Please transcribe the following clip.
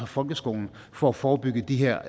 folkeskolen for at forebygge de her